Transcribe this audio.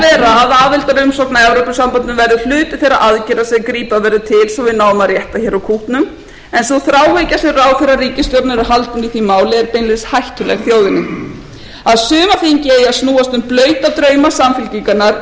að aðildarumsókn að evrópusambandinu verði hluti þeirra aðgerða sem grípa verður til svo við náum að rétta hér úr kútnum en sú þráhyggja sem ráðherrar ríkisstjórnarinnar er haldin í því máli er beinlínis hættuleg þjóðinni að sumarþingið eigi að snúast um blauta drauma samfylkingarinnar um